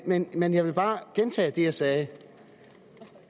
men men jeg vil bare gentage det jeg sagde